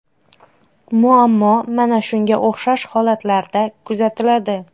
Muammo mana shunga o‘xshash holatlarda kuzatiladi.